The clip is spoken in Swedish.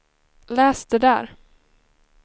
läs det där